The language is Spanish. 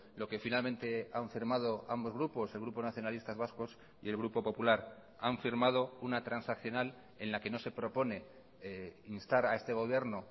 lo que finalmente han firmado ambos grupos el grupo nacionalistas vascos y el grupo popular han firmado una transaccional en la que no se propone instar a este gobierno